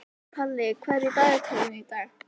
Palli, hvað er í dagatalinu í dag?